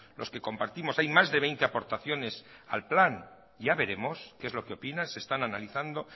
los que compartimos hay más de veinte aportaciones al plan ya veremos qué es lo que opina se están analizando